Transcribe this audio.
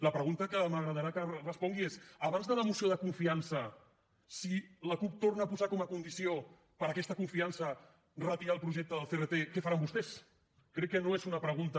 la pregunta que m’agradarà que respongui és abans de la moció de confiança si la cup torna a posar com a condició per a aquesta confiança retirar el projecte del crt què faran vostès crec que no és una pregunta